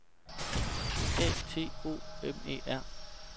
A T O M E R